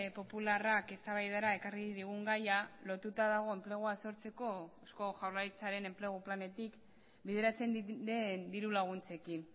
popularrak eztabaidara ekarri digun gaia lotuta dago enplegua sortzeko eusko jaurlaritzaren enplegu planetik bideratzen den dirulaguntzekin